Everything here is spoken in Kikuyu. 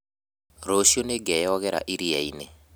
Rũciũ nĩngeoyogera iria-inĩ